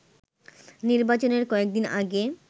নির্বাচনের কয়েকদিন আগে